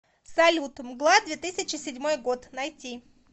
салют мгла две тысячи седьмой год найти